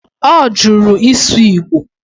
Ọ jụrụ ịsụ Igbo